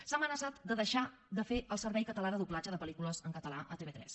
s’ha amenaçat de deixar de fer el servei català de doblatge de pel·lícules en català a tv3